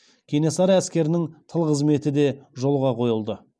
кенесары әскерінің тыл қызметі де жолға қойылды